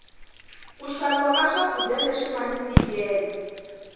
ku xaviwa swa kudya leswi ngani ntikelo